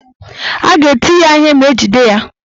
A ga-eti ya ihe ma ejide ya.